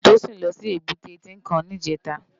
Tosin lò si ébùté Tinkán nijètá